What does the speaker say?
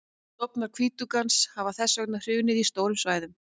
stofnar hvítuggans hafa þess vegna hrunið á stórum svæðum